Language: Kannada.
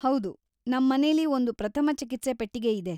ಹೌದು, ನಮ್ ಮನೆಲಿ ಒಂದು ಪ್ರಥಮ ಚಿಕಿತ್ಸೆ ಪೆಟ್ಟಿಗೆ ಇದೆ.